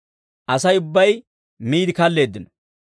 Asay ubbay miide kalleeddino.